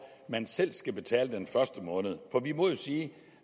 man selv skal betale for den første måned for vi må jo sige